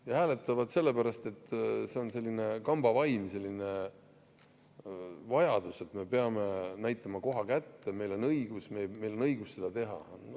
Nad hääletavad nii sellepärast, et see on selline kambavaim, selline vajadus, et me peame näitama koha kätte: meil on õigus seda teha.